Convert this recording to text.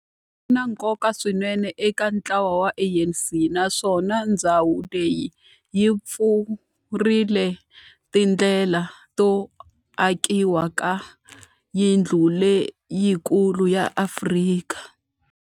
Na nkoka swinene eka ntlawa wa ANC, naswona ndhawu leyi yi pfurile tindlela to akiwa ka yindlu leyikulu ya Afrika.